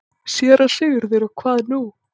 SÉRA SIGURÐUR: Og hvað nú?